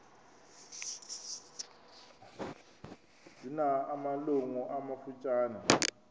zina malungu amafutshane